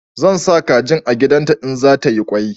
Zan sa kajin a gidan ta in za ta yi kwai